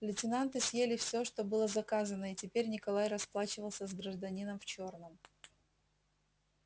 лейтенанты съели всё что было заказано и теперь николай расплачивался с гражданином в чёрном